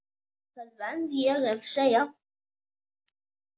Það verð ég að segja.